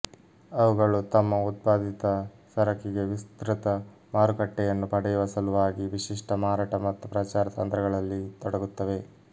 ಅವುಗಳು ತಮ್ಮ ಉತ್ಪಾದಿತ ಸರಕಿಗೆ ವಿಸ್ತೃತ ಮಾರುಕಟ್ಟೆಯನ್ನು ಪಡೆಯುವ ಸಲುವಾಗಿ ವಿಶಿಷ್ಟ ಮಾರಾಟ ಮತ್ತು ಪ್ರಚಾರ ತಂತ್ರಗಳಲ್ಲಿ ತೊಡಗುತ್ತವೆ